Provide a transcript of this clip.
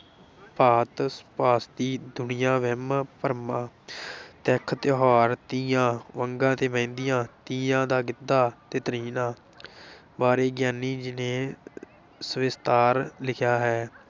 ਭਾਂਤ ਸੁਭਾਂਤੀ ਦੁਨੀਆਂ, ਵਹਿਮ ਭਰਮ ਤਿੱਥ ਤਿਉਹਾਰ, ਤੀਆਂ, ਵੰਗਾਂ ਤੇ ਮਹਿੰਦੀਆਂ, ਤੀਆਂ ਦਾ ਗਿੱਧਾ ਤੇ ਤ੍ਰਿੰਝਣ ਬਾਰੇ ਗਿਆਨੀ ਜੀ ਨੇ ਸਵਿਸਤਾਰ ਲਿਖਿਆ ਹੈ।